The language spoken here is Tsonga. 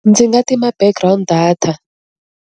Ndzi nga tima background data.